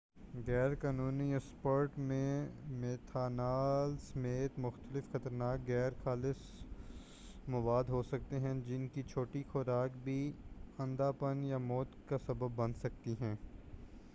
غیر قانونی اسپرٹ میں میتھنال سمیت مختلف خطرناک غیر خالص مواد ہوسکتے ہیں جن کی چھوٹی خوراک بھی اندھا پن یا موت کا سبب بن سکتی ہے